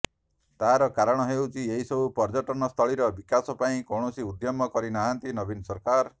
ତାର କାରଣ ହେଉଛି ଏସବୁ ପର୍ଯ୍ୟଟନ ସ୍ଥଳୀର ବିକାଶ ପାଇଁ କୌଣସି ଉଦ୍ୟମ କରି ନାହାନ୍ତି ନବୀନ ସରକାର